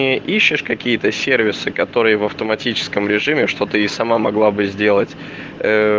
не ищешь какие-то сервисы которые в автоматическом режиме что ты и сама могла бы сделать ээ